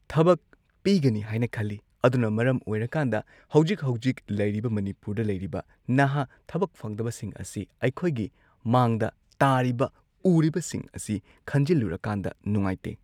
ꯊꯕꯛ ꯄꯤꯒꯅꯤ ꯍꯥꯏꯅ ꯈꯜꯂꯤ ꯑꯗꯨꯅ ꯃꯔꯝ ꯑꯣꯏꯔꯀꯥꯟꯗ ꯍꯧꯖꯤꯛ ꯍꯧꯖꯤꯛ ꯂꯩꯔꯤꯕ ꯃꯅꯤꯄꯨꯔꯗ ꯂꯩꯔꯤꯕ ꯅꯍꯥ ꯊꯕꯛ ꯐꯪꯗꯕꯁꯤꯡ ꯑꯁꯤ ꯑꯩꯈꯣꯏꯒꯤ ꯃꯥꯡꯗ ꯇꯥꯔꯤꯕ ꯎꯔꯤꯕꯁꯤꯡ ꯑꯁꯤ ꯈꯟꯖꯜꯂꯨꯔꯀꯥꯟꯗ ꯅꯨꯉꯥꯏꯇꯦ꯫